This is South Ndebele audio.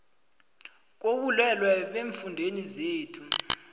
kobulwele eemfundeni zethu